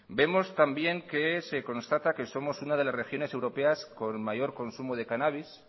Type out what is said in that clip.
vemos también que se constata que somos una de las regiones europeas con mayor consumo de cannabis